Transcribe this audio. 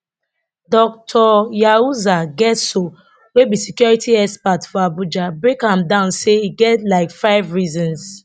dr yahuza getso wey be security expert for abuja break am down say e get like five reasons